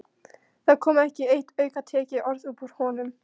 Það kom ekki eitt aukatekið orð upp úr honum.